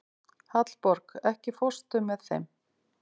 Hallborg, ekki fórstu með þeim?